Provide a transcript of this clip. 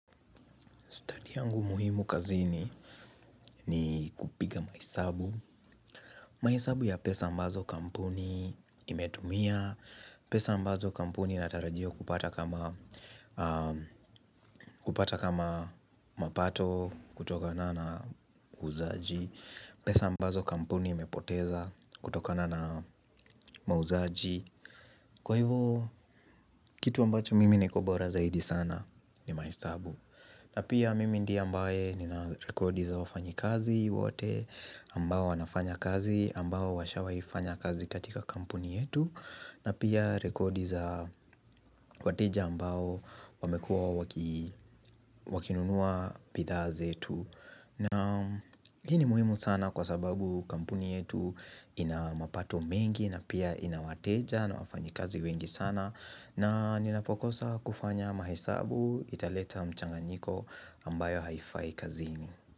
Study yangu muhimu kazini ni kupiga mahesabu. Mahesabu ya pesa ambazo kampuni imetumia. Pesa ambazo kampuni inatarajia kupata kama mapato kutokana na uuzaji. Pesa ambazo kampuni imepoteza kutokana na mauzaji. Kwa hivyo kitu ambacho mimi nikobora zaidi sana ni mahesabu. Na pia mimi ndiye ambaye nina rekodi za wafanyikazi wote ambao wanafanya kazi ambao washa waifanya kazi katika kampuni yetu na pia rekodi za wateja ambao wamekua wakinunua bidhaa zetu na hini muhimu sana kwa sababu kampuni yetu inamapato mengi na pia inawateja na wafanyi kazi wengi sana na ninapokosa kufanya mahesabu italeta mchanganiko ambayo haifai kazini.